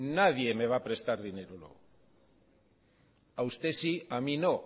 nadie me va a prestar dinero luego a usted sí a mí no